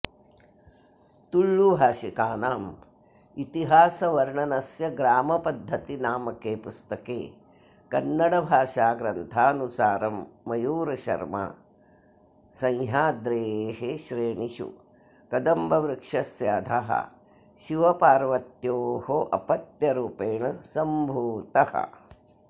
तुळुभाषिकानाम् इतिहासवर्णनस्य ग्रामपद्धतिनामके पुस्तके कन्नडभाषाग्रन्थानुसारं मयूरशर्मा सह्याद्रेः श्रेणिषु कदम्बवृक्षस्य अधः शिवपार्वत्योः अपत्यरूपेण सम्भूतः